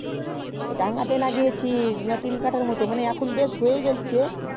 ওই দাঙ্গা তে লাগিয়েছি তিন কথা মতো এখন বেশ হয়ে গেল্ছে